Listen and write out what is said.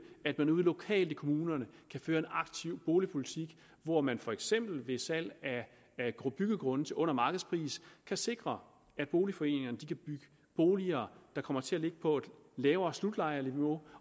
at man ude lokalt i kommunerne kan føre en aktiv boligpolitik hvor man for eksempel ved salg af byggegrunde til under markedspris kan sikre at boligforeningerne kan bygge boliger der kommer til at ligge på et lavere slutlejeniveau